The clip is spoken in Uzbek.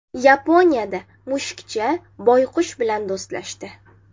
Yaponiyada mushukcha boyqush bilan do‘stlashdi .